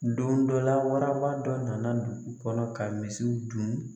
Don dɔ la waraba dɔ na na dugu kɔnɔ ka misiw dun.